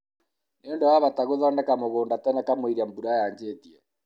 nĩ ũndũ wa bata gũthondeka mũgũnda tene kamũira mbura yanjĩtie